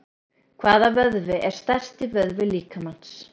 Hvaða vöðvi er stærsti vöðvi líkamans?